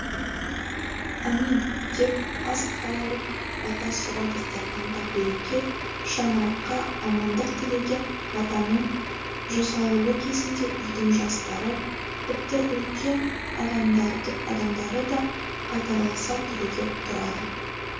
әмин деп ас қайыртып бата сұрау дастарқанға береке шаңыраққа амандық тілеген батаның жасалуы кезінде үйдің жастары тіпті үлкен адамдары да қатарласа түрегеп тұрады